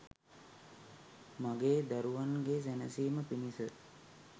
මගේ දරුවන්ගේ සැනසීම පිණිස